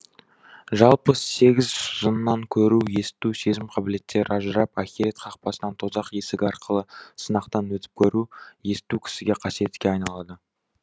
жалпы сегіз жыннан көру есту сезім қабілеттері ажырап ахирет қақпасынан тозақ есігі арқылы сынақтан өтіп көру есту кісіге қасиетке айналады